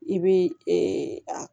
I bɛ